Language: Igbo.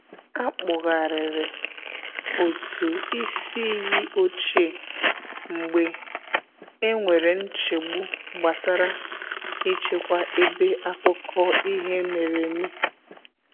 A kpugharịrị otụ isi iyi ochie mgbe e nwere nchegbu gbasara i chekwa ebe akụkọ ihe mere eme.